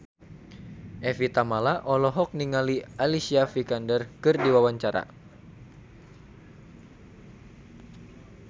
Evie Tamala olohok ningali Alicia Vikander keur diwawancara